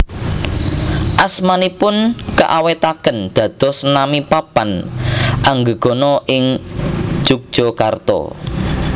Asmanipun kaawètaken dados nami papan anggegana ing Jogjakarta